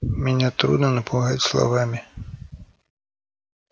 меня трудно напугать словами